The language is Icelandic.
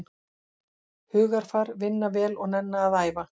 Hugarfar, vinna vel og nenna að æfa.